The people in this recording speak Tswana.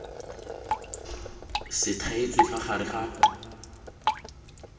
se thaetswe fa gare ga